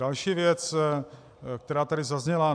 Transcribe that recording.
Další věc, která tady zazněla.